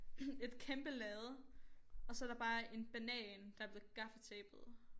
Et kæmpe lærred og så der bare en banan der blevet gaffatapet